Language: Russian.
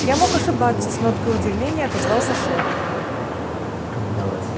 я мог ошибаться с ноткой удивления отозвался шеф